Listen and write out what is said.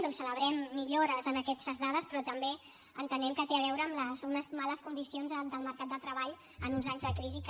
doncs celebrem millores en aquestes dades però també entenem que tenen a veure amb unes males condicions del mercat de treball en uns anys de crisi que